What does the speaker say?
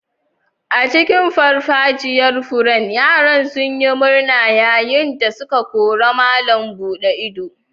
A cikin farfajiyar furen, yaran sun yi murna yayin da suke korar malam buɗe ido.